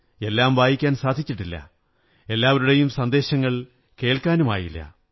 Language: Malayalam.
എല്ലാം വായിക്കാൻ സാധിച്ചിട്ടില്ല എല്ലാവരുടെയും സന്ദേശങ്ങൾ കേള്ക്കാ നുമായില്ല